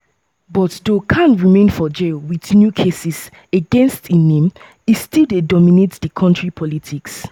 but though khan remain for jail with new cases against im name e still dey dominate di country politics.